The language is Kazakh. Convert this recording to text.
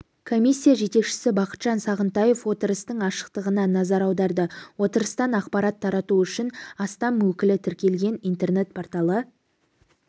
комисия жетекшісі бақытжан сағынтаев отырыстың ашықтығына назар аударды отырыстан ақпарат тарату үшін астам өкілі тіркелген интернет-порталы